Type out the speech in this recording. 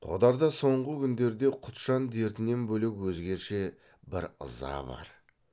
қодарда соңғы күндерде құтжан дертінен бөлек өзгеше бір ыза бар